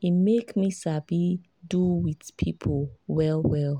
e make me sabi do with people well well